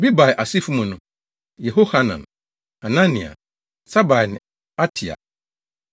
Bebai asefo mu no: Yehohanan, Hanania, Sabai ne Atlai.